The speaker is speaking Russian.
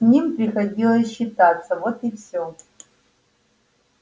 с ним приходилось считаться вот и всё